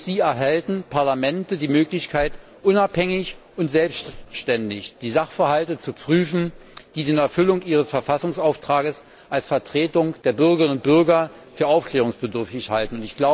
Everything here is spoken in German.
Durch sie erhalten Parlamente die Möglichkeit, unabhängig und selbständig die Sachverhalte zu prüfen, die sie in Erfüllung ihres Verfassungsauftrages als Vertretung der Bürgerinnen und Bürger für aufklärungsbedürftig halten.